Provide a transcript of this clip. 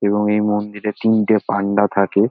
এবং এই মন্দিরে তিনটে পান্ডা থাকে।